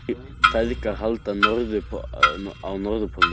Feðgar halda á Norðurpólinn